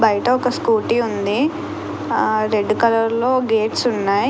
బయట ఒక స్కూటీ ఉంది రెడ్ కలర్ లో గేట్స్ ఉన్నాయి.